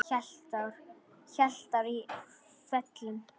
Heilt ár í felum.